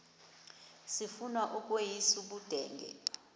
sifuna ukweyis ubudenge